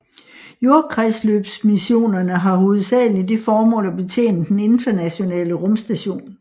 Jordkredsløbsmissionerne har hovedsageligt det formål at betjene Den Internationale Rumstation